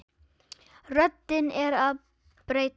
Röddin er að bresta.